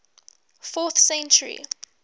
fourth century